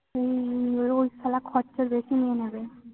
হম রোজ শালা খরচা বেশি নিয়ে নেবে।